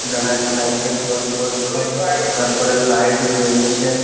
দাঁড়ায় আছে লাগছেক জল পড়ছে তারপরে লাইট জ্বলছে-এ ।